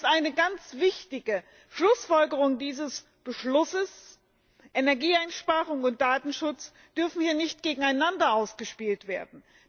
Deswegen ist eine ganz wichtige Schlussfolgerung dieses Beschlusses Energieeinsparung und Datenschutz dürfen hier nicht gegeneinander ausgespielt werden.